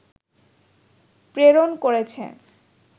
প্রেরণ করেছে